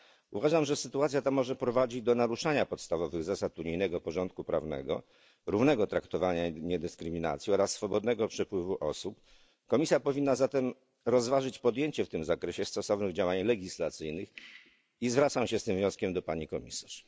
Uważam, że sytuacja ta może prowadzić do naruszania podstawowych zasad unijnego porządku prawnego, równego traktowania i niedyskryminacji oraz swobodnego przepływu osób. Komisja powinna zatem rozważyć podjęcie w tym zakresie stosownych działań legislacyjnych i zwracam się z tym wnioskiem do pani komisarz.